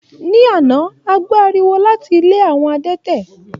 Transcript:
Ní àná, a gbó ariwo láti ilé àwọn adẹ́tẹ̀.